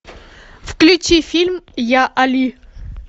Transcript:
включи фильм я али